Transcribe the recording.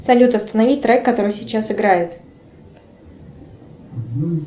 салют останови трек который сейчас играет